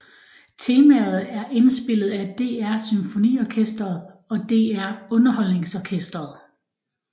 Temaet er indspillet af DR SymfoniOrkestret og DR UnderholdningsOrkestret